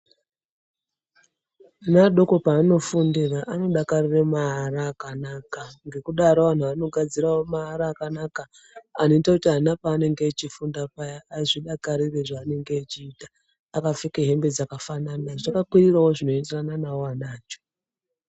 Ana adoko paanofundira anodakarire maara akanaka ngekudaro anhu anogadzirawo maara akanaka anoita kuti ana panenge echifunda paya azvidakarire zvaanenge echiita akapfeke hembe dzakafanana zvakakwirirewo zvinoenderana nawo ana acho